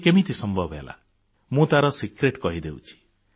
ଇଏ କେମିତି ସମ୍ଭବ ହେଲା ମୁଁ ତାର ଭିତିରିଆ କଥା କହି ଦେଉଛି